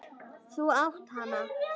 Þú átt hana!